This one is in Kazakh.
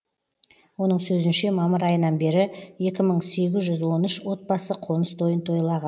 оның сөзінше мамыр айынан бері екі мың сегіз жүз он үш отбасы қоныс тойын тойлаған